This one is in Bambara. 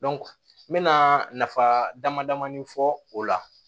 n mɛna nafa dama damai fɔ o la